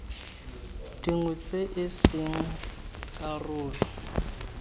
dingwe tse e seng karolo